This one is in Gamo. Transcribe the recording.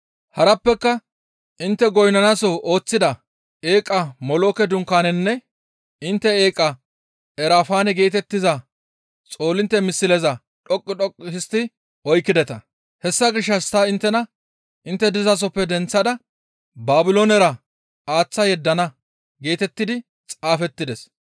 Harappeka intte goynnanasoho ooththida eeqa Molooke dunkaananne intte eeqa Erafaane geetettiza xoolintte misleza dhoqqu dhoqqu histti oykkideta. Hessa gishshas ta inttena intte dizasoppe denththada Baabiloonera aaththa yeddana› geetettidi xaafettides.